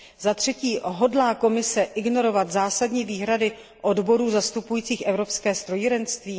Zatřetí hodlá Komise ignorovat zásadní výhrady odborů zastupujících evropské strojírenství?